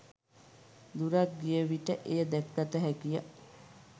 දුරක් ගිය විට එය දැකගත හැකිය.